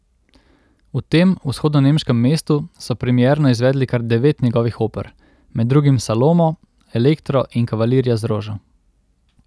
V tem vzhodnonemškem mestu so premierno izvedli kar devet njegovih oper, med drugim Salomo, Elektro in Kavalirja z rožo.